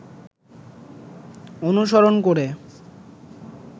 অনুসরণ করে